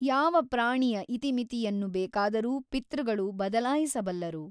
ಯಾವ ಪ್ರಾಣಿಯ ಇತಿಮಿತಿಯನ್ನು ಬೇಕಾದರೂ ಪಿತೃಗಳು ಬದಲಾಯಿಸಬಲ್ಲರು.